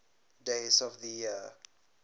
days of the year